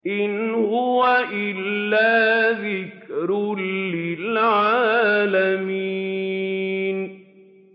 إِنْ هُوَ إِلَّا ذِكْرٌ لِّلْعَالَمِينَ